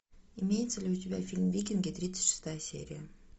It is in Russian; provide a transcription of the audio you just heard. имеется ли у тебя фильм викинги тридцать шестая серия